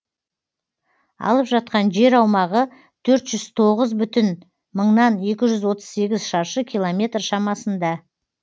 алып жатқан жер аумағы төрт жүз тоғыз бүтін мыңнан екі жүз отыз сегіз шаршы километр шамасында